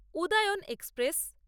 Udayan express